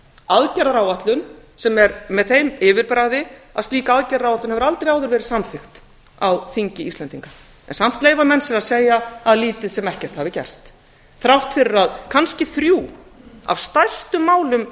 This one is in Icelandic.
aðgerðaráætlun sem er með því yfirbragði að slík aðgerðaráætlun hefur aldrei áður verið samþykkt á þingi íslendinga en samt leyfa menn sér að segja að lítið sem ekkert hafi gerst þrátt fyrir að kannski þrjú af stærstu málum